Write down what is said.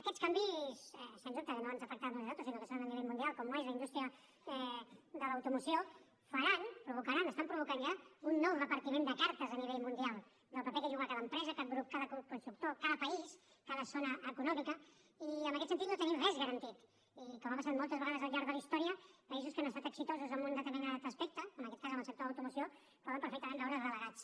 aquests canvis sens dubte que no ens afectaran només a nosaltres sinó que són a nivell mundial com ho és la indústria de l’automoció faran provocaran estan provocant ja un nou repartiment de cartes a nivell mundial del paper que juga cada empresa cada grup constructor cada país cada zona econòmica i en aquest sentit no tenim res garantit i com ha passat moltes vegades al llarg de la història països que han estat exitosos en un determinat aspecte en aquest cas en el sector de l’automoció poden perfectament veure’s relegats